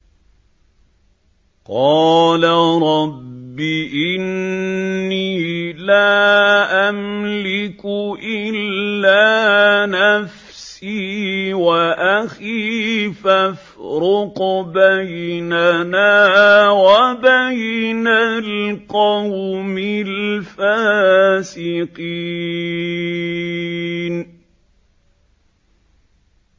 قَالَ رَبِّ إِنِّي لَا أَمْلِكُ إِلَّا نَفْسِي وَأَخِي ۖ فَافْرُقْ بَيْنَنَا وَبَيْنَ الْقَوْمِ الْفَاسِقِينَ